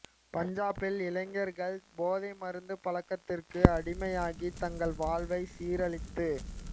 பஞ்சாபில் இளைஞர்கள் போதை மருந்து பழக்கத்திற்கு அடிமையாகி தங்கள் வாழ்வை சீரழித்து